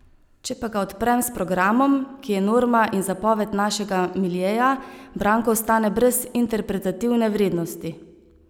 Če pa ga odprem s programom, ki je norma in zapoved našega miljeja, Branko ostane brez interpretativne vrednosti.